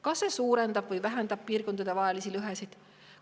Kas see suurendab või vähendab piirkondadevahelisi lõhesid?